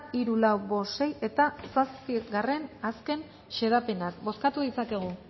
hiru lau bost sei eta zazpigarrena azken xedapenak bozkatu ditzakegu